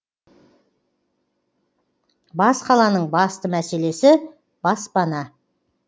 бас қаланың басты мәселесі баспана